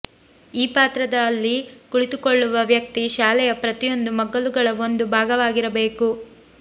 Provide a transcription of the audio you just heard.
ಈ ಪಾತ್ರದಲ್ಲಿ ಕುಳಿತುಕೊಳ್ಳುವ ವ್ಯಕ್ತಿ ಶಾಲೆಯ ಪ್ರತಿಯೊಂದು ಮಗ್ಗಲುಗಳ ಒಂದು ಭಾಗವಾಗಿರಬೇಕು